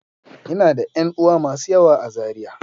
Ina da ƴan uwa masu yawa a Zariya.